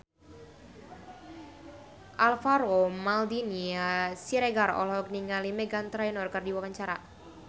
Alvaro Maldini Siregar olohok ningali Meghan Trainor keur diwawancara